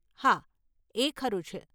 હા, એ ખરું છે.